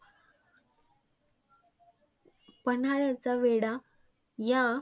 पन्हाळ्याचा वेढा या.